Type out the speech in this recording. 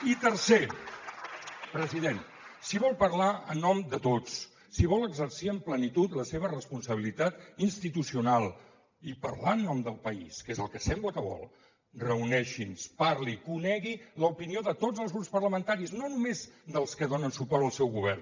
i tercer president si vol parlar en nom de tots si vol exercir amb plenitud la seva responsabilitat institucional i parlar en nom del país que és el que sembla que vol reuneixi’ns parli conegui l’opinió de tots els grups parlamentaris no només dels que donen suport al seu govern